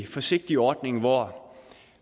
forsigtig ordning hvor